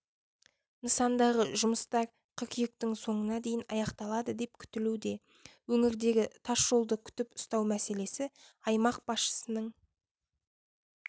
нысандағы жұмыстар қыркүйектің соңына дейін аяқталады деп күтілуде өңірдегі тас жолды күтіп-ұстау мәселесі аймақ басшысының